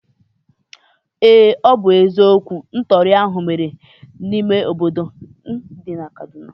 Ee, ọ bụ eziokwu. Ntọri ahụ mere n'obodo dị n'ime kaduna